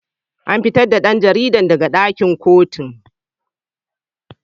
An fitar da dan jaridar daga dakin kotun.